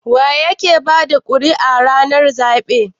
wa yake bada kuri'ar ranar zabe?